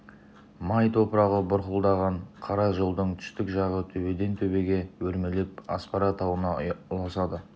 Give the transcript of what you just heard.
май топырағы бұрқылдаған қара жолдың түстік жағы төбеден-төбеге өрмелеп аспара тауына ұласады